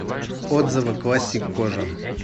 отзывы классик кожа